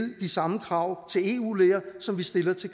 de samme krav til eu læger som vi stiller til